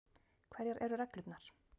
Hverjar eru reglurnar?